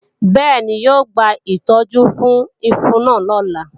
Bẹ́ẹ̀ni, yóò gba ìtọ́jú fún ifo náà lọ́la